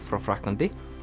frá Frakklandi